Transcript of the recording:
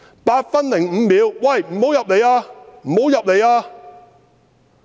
8分05秒："喂，不要入來，不要入來呀"。